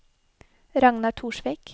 Ragnar Torsvik